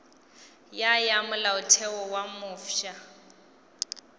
ya ya molaotheo wo mofsa